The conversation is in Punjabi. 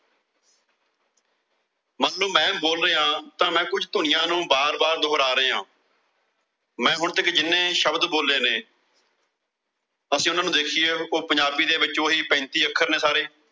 ਮਤਲਬ ਮੈਂ ਬੋਲ ਰਿਹਾਂ ਤਾਂ ਮੈਂ ਕੁਸ਼ ਧੁਨੀਆਂ ਨੂੰ ਵਾਰ-ਵਾਰ ਦੁਹਰਾ ਰਿਹਾਂ। ਮੈਂ ਹੁਣ ਤੱਕ ਜਿੰਨੇ ਸ਼ਬਦ ਬੋਲੇ ਨੇ ਅਸੀਂ ਉਨ੍ਹਾਂ ਨੂੰ ਦੇਖੀਏ, ਉਹ ਪੰਜਾਬੀ ਦੇ ਵਿੱਚ ਉਹੀ ਪੈਂਤੀ ਅੱਖਰ ਨੇ ਸਾਰੇ।